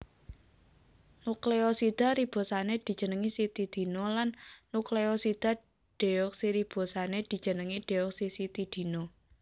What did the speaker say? Nukleosida ribosané dijenengi sitidina lan nukleosida deoksiribosané dijenengi deoksisitidina